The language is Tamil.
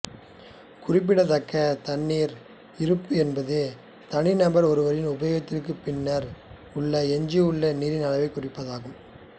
குறிப்பிடத்தக்க தண்ணீர் இருப்பு என்பது தனிநபர் ஒருவரின் உபயோகத்திற்குப் பின்னர் உள்ள எஞ்சியுள்ள நீரின் அளவைக் குறிப்பதாகும்